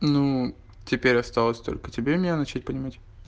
ну теперь осталось только тебе меня начать понимать